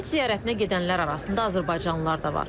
Həcc ziyarətinə gedənlər arasında azərbaycanlılar da var.